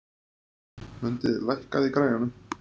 Mundi, lækkaðu í græjunum.